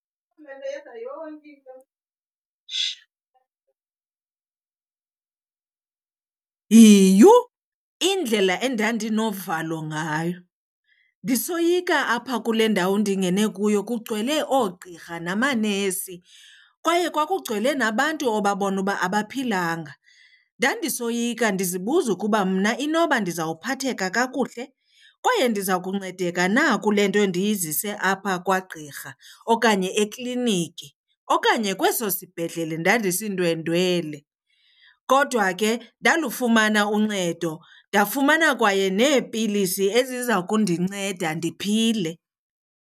Yiyhu! Indlela endandinovalo ngayo, ndisoyika apha kule ndawo ndingene kuyo, kugcwele oogqirha namanesi kwaye kwakugcwele nabantu obabona uba abaphilanga. Ndandisoyika ndizibuza ukuba mna inoba ndizawuphatheka kakuhle kwaye ndiza kuncedeka na kule nto ndiyizise apha kwagqirha okanye ekliniki okanye kweso sibhedlele ndandisindwendwele. Kodwa ke ndalufumana uncedo, ndafumana kwaye neepilisi eziza kundinceda ndiphile.